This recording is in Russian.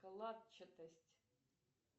калатчатость